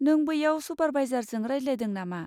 नों बैयाव सुपारभाइजारजों रायज्लायदों नामा?